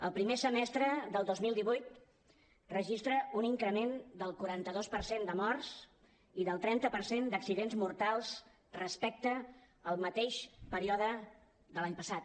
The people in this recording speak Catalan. el primer semestre del dos mil divuit registra un increment del quaranta dos per cent de morts i del trenta per cent d’accidents mortals respecte al mateix període de l’any passat